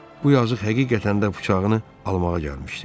Bu yazıq həqiqətən də bıçağını almağa gəlmişdi.